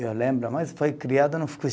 Eu lembro, mas foi criado